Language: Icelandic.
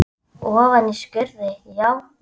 Ofan í skurði, já?